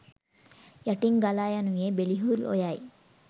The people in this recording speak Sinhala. යටින් ගලායනුයේ බෙලිහුල් ඔයයි.